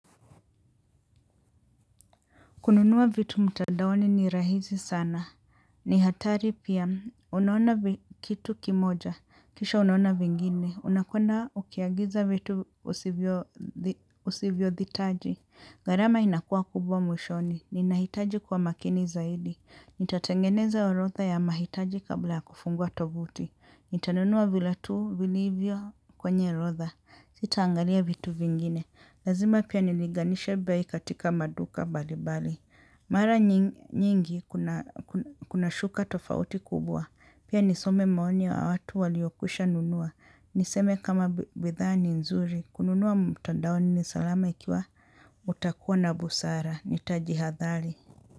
Kununua vitu mtadaoni ni rahisi sana. Ni hatari pia. Unaona kitu kimoja. Kisha unaona vingine. Unakwenda ukiagiza vitu usivyo dhitaji. Garama inakua kubwa mwishoni. Ninahitaji kuwa makini zaidi. Nitatengeneza orotha ya mahitaji kabla ya kufungua tovuti. Nitanunua vila tuu vilivyo kwenye rotha. Sitaangalia vitu vingine. Lazima pia niliganisha bei katika maduka bali bali. Mara nyingi kuna shuka tofauti kubwa. Pia nisome maoni wa watu waliokwisha nunua. Niseme kama bidhaa ni nzuri. Kununua mtandaoni ni salama ikiwa utakuwa na busara. Nitaji athari.